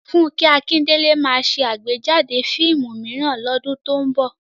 Fúnkẹ́ Akíndélé ma ṣe àgbéjáde fíìmù mìíràn lọ́dún tó ń bọ̀